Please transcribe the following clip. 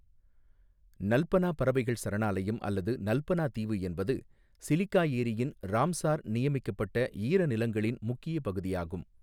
நல்பனா பறவைகள் சரணாலயம் அல்லது நல்பனா தீவு என்பது சிலிகா ஏரியின் ராம்சார் நியமிக்கப்பட்ட ஈரநிலங்களின் முக்கிய பகுதியாகும்.